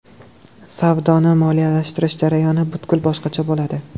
Savdoni moliyalashtirish jarayoni butkul boshqacha bo‘ladi.